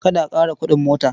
Kada a ƙara kuɗin mota.